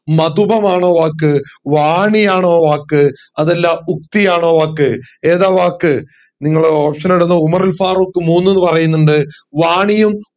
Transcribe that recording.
മധുപമാണോ വാക്ക് വാണിയാണോ വാക്ക് അതല്ല യുക്തിയാണോ വാക്ക് ഏതാ വാക്ക് നിങ്ങൾ option ഇടുന്നു ഉമറുൽ ഫറൂഖ് മൂന്ന് എന്ന് പറയുന്നുണ്ട് വാണിയും